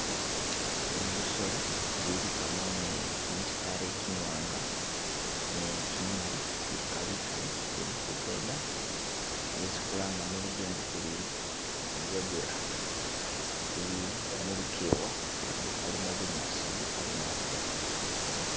Bino bisolo biligamo ni gimisitale gimiwanga ni gi mimali biliga bigali bili kugenda byesi khulanga muluzungu khuri Zebra bili mulugewa lukhalimo bunyasi bugali naabi ta.